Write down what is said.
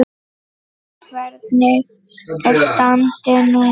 En hvernig er standið núna?